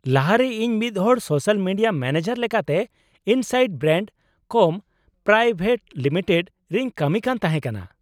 ᱞᱟᱦᱟ ᱨᱮ ᱤᱧ ᱢᱤᱫᱦᱚᱲ ᱥᱳᱥᱟᱞ ᱢᱤᱰᱤᱭᱟ ᱢᱮᱱᱮᱡᱟᱨ ᱞᱮᱠᱟᱛᱮ Insight Brand Com Private Limited ᱨᱮᱧ ᱠᱟᱹᱢᱤ ᱠᱟᱱ ᱛᱟᱦᱮᱸ ᱠᱟᱱᱟ ᱾